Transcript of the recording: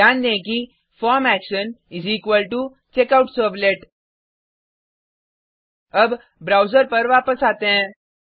ध्यान दें कि form action is equal to checkout servlet अब ब्राउज़र पर वापस आते हैं